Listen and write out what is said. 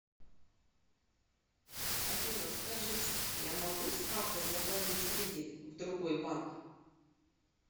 афина скажите я могу с карты заплатить кредит в другой банк